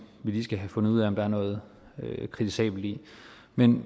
vi lige skal have fundet ud af om der er noget kritisabelt i men